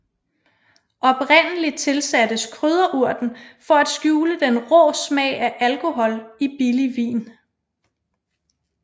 Oprindelig tilsattes krydderurten for at skjule den rå smag af alkohol i billig vin